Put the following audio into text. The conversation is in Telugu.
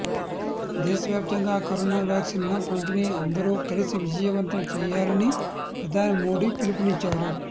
దేశవ్యాప్తంగా కరోనా వ్యాక్సిన్ పంపిణీని అందరూ కలిసి విజయవంతం చేయాలని ప్రధాని మోడీ పిలుపునిచ్చారు